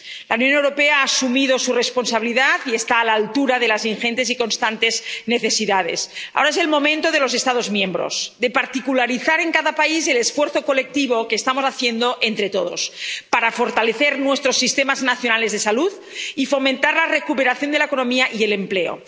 La Unión Europea ha asumido su responsabilidad y está a la altura de las ingentes y constantes necesidades. Ahora es el momento de los Estados miembros, de particularizar en cada país el esfuerzo colectivo que estamos haciendo entre todos, para fortalecer nuestros sistemas nacionales de salud y fomentar la recuperación de la economía y el empleo.